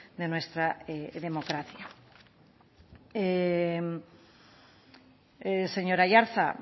de nuestra democracia señor aiartza